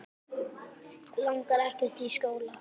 Langar ekkert í skóla.